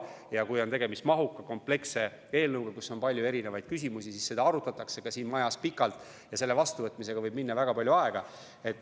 Ja kui on tegemist mahuka, kompleksse eelnõuga, kus on palju erinevaid küsimusi, siis seda arutatakse ka siin majas pikalt ja selle vastuvõtmisega võib minna väga palju aega.